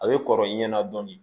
A bɛ kɔrɔ i ɲɛna dɔɔnin